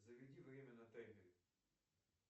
заведи время на таймере